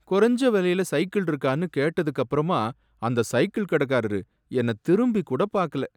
குறஞ்ச விலையில சைக்கிள் இருக்கான்னு கேட்டதுக்கப்புறமா அந்த சைக்கிள் கடைக்காரரு என்ன திரும்பி கூட பாக்கல.